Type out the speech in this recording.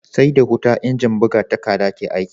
SE da huta injin buga takadda ke aiki